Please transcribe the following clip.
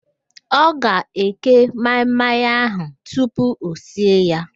Ọ ga-eke maị-maị ahụ tupu o sie ya